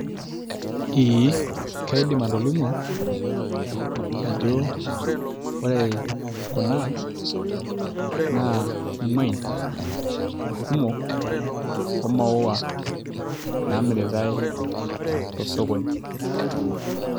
Eee kaidim atolimu ajo ore kuna naa imuain kumok oo maua naamiritai to osokoni.